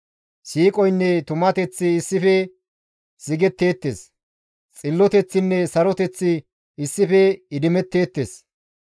Siiqoynne tumateththi issife sigetteettes; Xilloteththinne saroteththi issife idimetteettes.